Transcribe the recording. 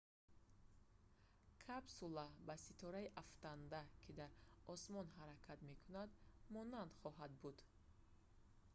капсула кабинаи ҷудошаванда ба ситораи афтанда ки дар осмон ҳаракат мекунад монанд хоҳад буд